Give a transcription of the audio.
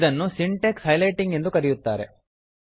ಇದನ್ನು syntax highlighting ಎಂದು ಕರೆಯುತ್ತಾರೆ